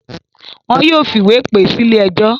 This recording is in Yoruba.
Wọn yóò fìwé pè é sílé ẹjọ́.